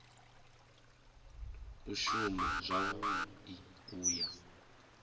u shuma zwavhui u ya